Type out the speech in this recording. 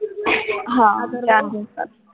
हा चार दिवसात